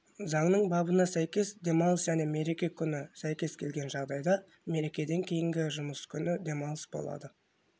заңның бабына сәйкес демалыс және мереке күні сәйкес келген жағдайда мерекеден кейінгі жұмыс күні демалыс болады